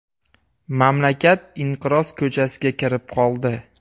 Mamlakat inqiroz ko‘chasiga kirib qoldi.